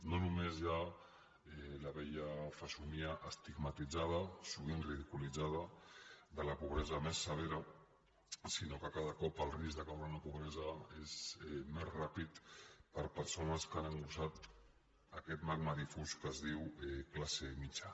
no només hi ha la vella fesomia estigmatitzada sovint ridiculitzada de la pobresa més severa sinó que cada cop el risc de caure en la pobresa és més ràpid per a persones que han engrossit aquest magma difús que es diu classe mitjana